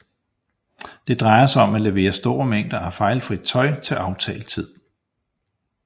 Det drejer sig om at levere store mængder af fejlfrit tøj til aftalt tid